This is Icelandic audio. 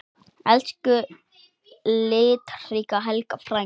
Elsku litríka Helga frænka.